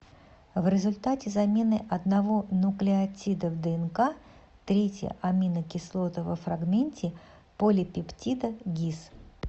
в результате замены одного нуклеотида в днк третья аминокислота во фрагменте полипептида гис